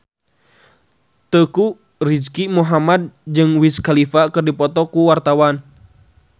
Teuku Rizky Muhammad jeung Wiz Khalifa keur dipoto ku wartawan